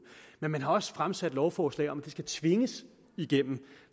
men man har også fremsat lovforslag om at det skal tvinges igennem